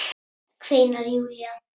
kveinar Júlía.